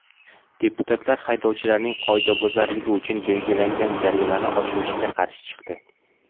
Deputatlar haydovchilarning qoidabuzarligi uchun belgilangan jarimani oshirishga qarshi chiqdi.